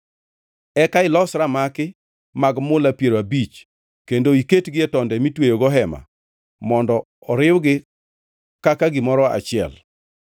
Eka ilos ramaki mag mula piero abich kendo iketgi e tonde mitweyogo hema mondo oriwgi kaka gimoro achiel.